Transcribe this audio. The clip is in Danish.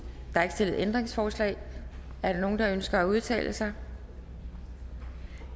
ændringsforslag er der nogen der ønsker at udtale sig